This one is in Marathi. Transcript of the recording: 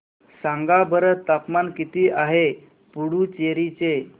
सांगा बरं तापमान किती आहे पुडुचेरी चे